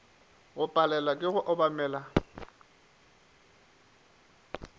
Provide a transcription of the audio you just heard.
go palelwa ke go obamela